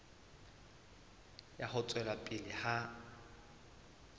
ya ho tswela pele ha